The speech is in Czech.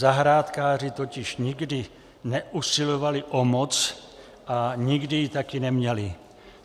Zahrádkáři totiž nikdy neusilovali o moc a nikdy ji taky neměli.